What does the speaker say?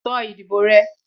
sọ ìdíbò rẹ!